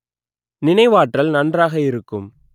நினைவாற்றல் நன்றாக இருக்கும்